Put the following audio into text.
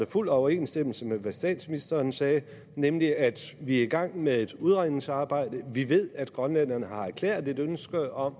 fuld overensstemmelse med hvad statsministeren sagde nemlig at vi er i gang med et udredningsarbejde vi ved at grønlænderne har erklæret et ønske om